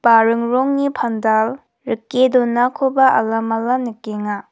baring rongni pandal rike donakoba alamala nikenga.